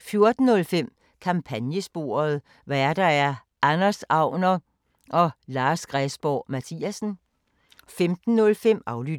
14:05: Kampagnesporet: Værter: Anders Agner, Lars Græsborg Mathiasen 15:05: Aflyttet